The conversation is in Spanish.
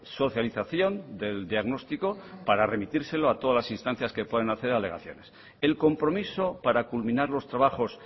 socialización del diagnóstico para remitírselo a todas las instancias que puedan hacer alegaciones el compromiso para culminar los trabajos